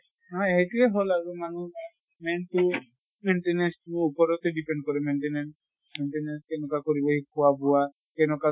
নহয় সেইটোয়ে হʼল আৰু মানুহ main তো maintenance টো ওপৰতে depend কৰে maintenance । maintenance তেনেকুৱা কৰিলে খোৱা বোৱা যেনকা